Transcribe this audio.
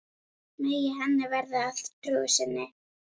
Megi henni verða að trú sinni.